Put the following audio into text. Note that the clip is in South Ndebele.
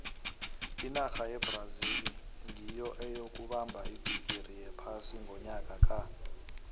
inarha yebrazil nyiyo eyokubamba ibhigiri yephasi ngonyaka ka